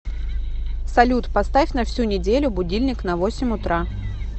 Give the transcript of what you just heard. салют поставь на всю неделю будильник на восемь утра